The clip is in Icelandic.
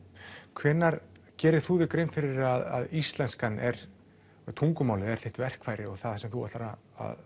hvenær gerir þú þér grein fyrir því að íslenskan eða tungumálið er þitt verkfæri og það sem þú ætlar að